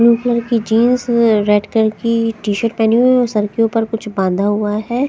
Blue colour की jeans में red colour की टी शर्ट पहनी हुई और सर के ऊपर कुछ बांध हुआ है।